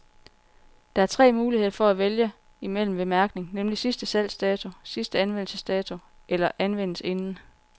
Der er tre muligheder at vælge imellem ved mærkning, nemlig sidste salgsdato, sidste anvendelsesdato eller anvendes inden.